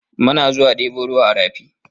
Muna zuwa ɗebo ruwa a rafi.